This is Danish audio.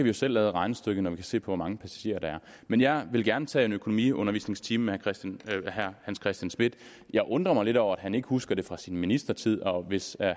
jo selv lave regnestykket når man ser på hvor mange passagerer der er men jeg vil gerne tage en økonomiundervisningstime med herre hans christian schmidt jeg undrer mig lidt over at han ikke husker det fra sin ministertid og hvis